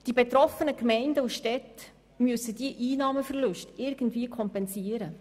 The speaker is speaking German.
Die betroffenen Gemeinden und Städte müssen diese Einnahmenverluste irgendwie kompensieren.